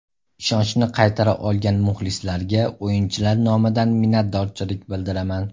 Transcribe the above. Ishonchni qaytara olgan muxlislarga o‘yinchilar nomidan minnatdorchilik bildiraman.